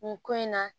Nin ko in na